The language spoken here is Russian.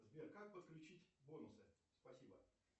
сбер как подключить бонусы спасибо